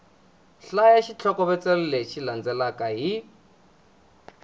hlaya xitlhokovetselo lexi landzelaka hi